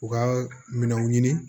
U ka minɛnw ɲini